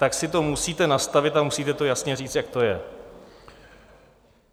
Tak si to musíte nastavit a musíte to jasně říct, jak to je.